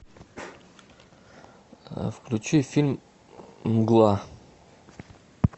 включи фильм мгла